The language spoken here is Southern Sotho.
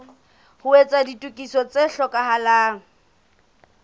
ho etsa ditokiso tse hlokahalang